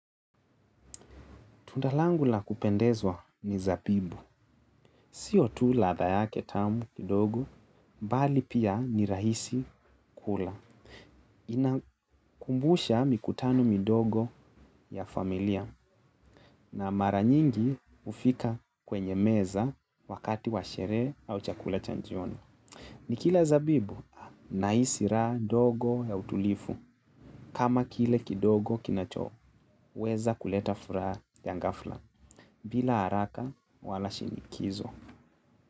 Tunda langu la kupendezwa ni zabibu. Sio tu ladha yake tamu kidogo, bali pia ni rahisi kula. Inakumbusha mikutano midogo ya familia na mara nyingi hufika kwenye meza wakati wa sherehe au chakula cha jioni. Nikila zabibu nahisi raha ndogo ya utulifu. Kama kile kidogo kinachoweza kuleta furaha ya ghafla bila haraka wala shinikizo.